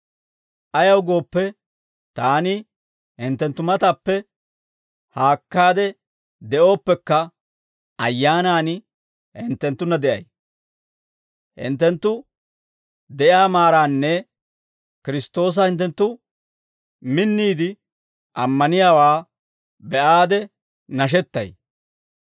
Ayaw gooppe, taani hinttenttu matappe haakkaade de'ooppekka, ayyaanan hinttenttunna de'ay; hinttenttu de'iyaa maaraanne Kiristtoosa hinttenttu minniide ammaniyaawaa be'aade nashettay.